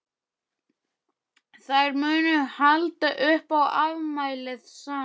Þær munu halda upp á afmælið saman.